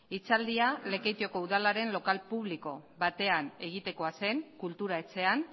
hitzaldia lekeitioko udalaren lokal publiko batean egitekoa zen kultura etxean